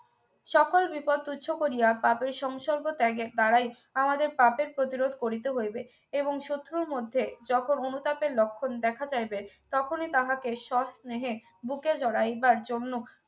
সকল বিপদ তুচ্ছ করিয়া পাপের সংসর্গ ত্যাগের দ্বারাই আমাদের পাপের প্রতিরোধ করিতে হইবে এবং শত্রুর মধ্যে যত অনুতাপের লক্ষণ দেখা যাইবে তখনই তাহাকে সস্নেহে বুকে জড়াইবার জন্য